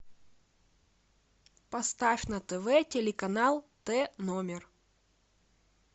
поставь на тв телеканал т номер